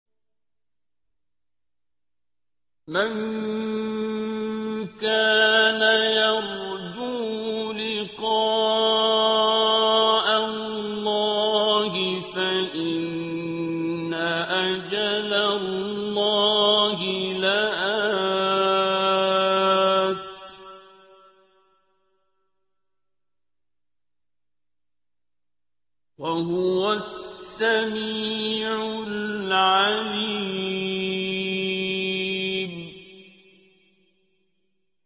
مَن كَانَ يَرْجُو لِقَاءَ اللَّهِ فَإِنَّ أَجَلَ اللَّهِ لَآتٍ ۚ وَهُوَ السَّمِيعُ الْعَلِيمُ